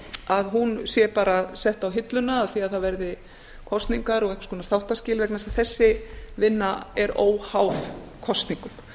að hún sé bara sett á hilluna af því að það verði kosningar og einhvers konar þáttaskil vegna þess að þessi vinna er óháð kosningum